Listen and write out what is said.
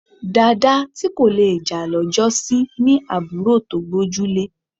Dàda tí kò le jà lọ́jọ́sí ní àbúrò tó gbójúlé